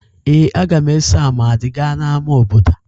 Ee, a ga m eso Amadi gaa n'ámá obodo